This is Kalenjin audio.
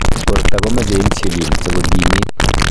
borta komeche insulin sikokimit